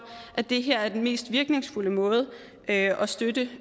at det her er den mest virkningsfulde måde at styrke